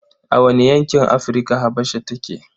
A wane yankin Afrika Habasha take?